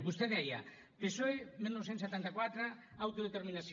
vostè deia psoe dinou setanta quatre autodeterminació